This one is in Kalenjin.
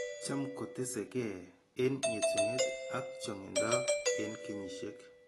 Cham kotese gee eng' etunet ak chang'indo eng' kenyishek.